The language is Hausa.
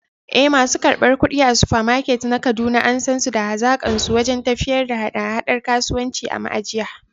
Eh, masu karɓar kuɗi a Supermart na Kaduna an san su da hazaƙarsu wajen tafiyar da haɗa-haɗar kasuwanci a ma’ajiya.